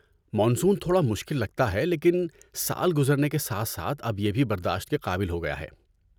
Monsoon تھوڑا مشکل لگتا ہے لیکن سال گزرنے کے ساتھ ساتھ اب یہ بھی برداشت کے قابل ہو گیا ہے۔